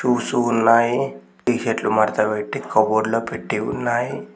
బుసు వున్నాయి టి షర్ట్లు మడతపెట్టి కబోర్డ్ లో పెట్టి ఉన్నాయి.